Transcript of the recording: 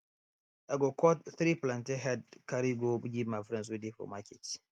i go cut three plantain head carry go give my friends wey dey for market